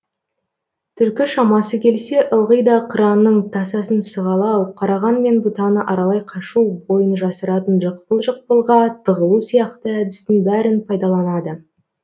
түлкі шамасы келсе ылғи да қыранның тасасын сығалау қараған мен бұтаны аралай қашу бойын жасыратын жықпыл жықпылға тығылу сияқты әдістің бәрін пайдаланады